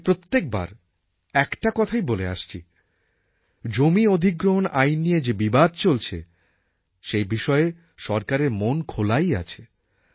আমি প্রত্যেকবার একটা কথাই বলে আসছি জমি অধিগ্রহণ আইন নিয়ে যে বিবাদ চলছে সেই বিষয়ে সরকারের মন খোলাই আছে